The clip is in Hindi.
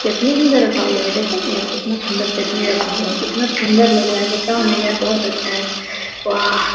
चटनी भी इधर रखा हुआ है देखो ना ये कितना सुंदर चटनी रखा हुआ है कितना सुंदर लग रहा है बताओ न यार बहुत अच्छा है वाह।